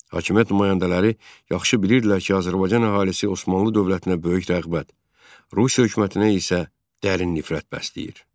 Hakimiyyət nümayəndələri yaxşı bilirdilər ki, Azərbaycan əhalisi Osmanlı dövlətinə böyük rəğbət, Rusiya hökumətinə isə dərin nifrət bəsləyir.